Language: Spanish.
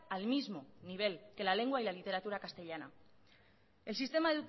al mismo nivel que la lengua y la literatura castellana el sistema